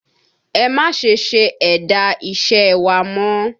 Ẹ má ṣe se ẹ̀dà iṣẹ́ ẹ wa mọ́!